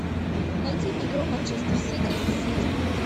найти игру манчестер сити с сити